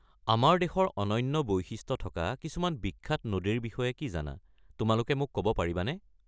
আমাৰ দেশৰ অনন্য বৈশিষ্ট্য থকা কিছুমান বিখ্যাত নদীৰ বিষয়ে কি জানা, তোমালোকে মোক ক'ব পাৰিবানে ?